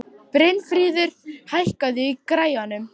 Brynfríður, hækkaðu í græjunum.